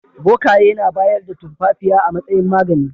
Bokaye na bayar da tumfafiya a matsayin magani.